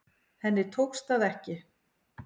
Henni tókst það ekki.